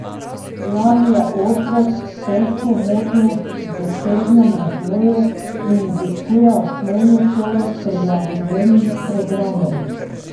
Jan je otrok s težko motnjo v duševnem razvoju in obiskuje osnovno šolo s prilagojenim programom.